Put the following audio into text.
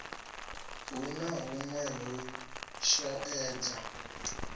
hu na huṅwe u shaedza